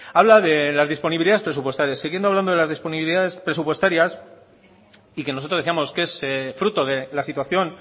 habla de las disponibilidades presupuestarias siguiendo hablando de las disponibilidades presupuestarias y que nosotros decíamos que es fruto de la situación